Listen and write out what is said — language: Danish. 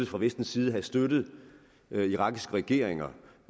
fra vestens side havde støttet irakiske regeringer